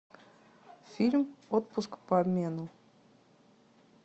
фильм отпуск по обмену